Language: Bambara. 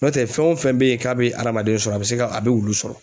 N'o tɛ fɛn o fɛn bɛ ye k'a bɛ adamaden sɔrɔ a bɛ se ka a bɛ wulu sɔrɔ.